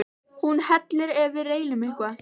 Hún hellir ef við reynum eitthvað.